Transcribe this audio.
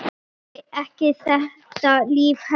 Þoli ekki þetta líf hérna.